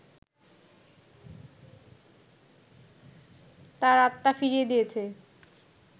তার আত্মা ফিরিয়ে দিয়েছে